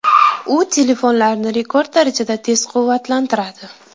U telefonlarni rekord darajada tez quvvatlantiradi.